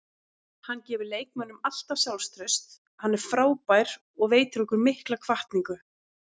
Hann gefur leikmönnum alltaf sjálfstraust, hann er frábær og veitir okkur mikla hvatningu.